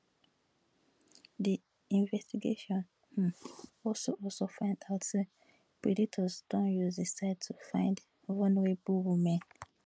di investigation um also also find out say predators don use di site to find vulnerable women